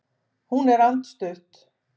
Hún er andstutt.